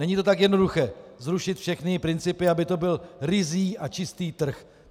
Není to tak jednoduché zrušit všechny principy, aby to byl ryzí a čistý trh.